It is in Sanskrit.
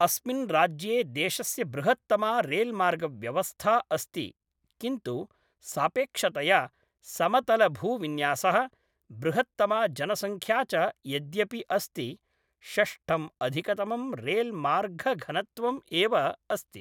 अस्मिन् राज्ये देशस्य बृहत्तमा रेल्मार्गव्यवस्था अस्ति किन्तु सापेक्षतया, समतलभूविन्यासः, बृहत्तमा जनसंख्या च यद्यपि अस्ति, षष्ठं अधिकतमं रेल्मार्गघनत्वम् एव अस्ति।